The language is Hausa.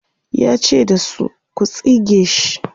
yace da su,"ku tsige sh!"